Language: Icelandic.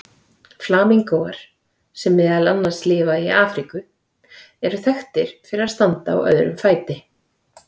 Flamingóar, sem meðal annars lifa í Afríku, eru þekktir fyrir að standa á öðrum fæti.